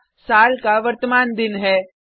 पहला साल का वर्तमान दिन है